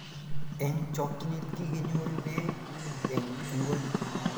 eng chokchinet kiginyorugei eng ingweny